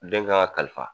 Den kan ka kalifa